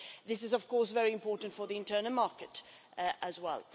This is, of course, very important for the internal market as well.